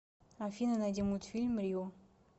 афина найди мультфильм рио